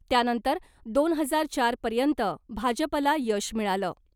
त्यानंतर दोन हजार चारपर्यंत भाजपला यश मिळालं .